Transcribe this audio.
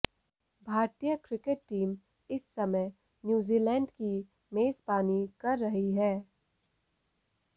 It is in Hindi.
भारतीय क्रिकेट टीम इस समय न्यूजीलैंड की मेजबानी कर रही है